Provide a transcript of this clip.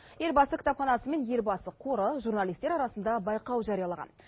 елбасы кітапханасы мен елбасы қоры журналистер арасында байқау жариялаған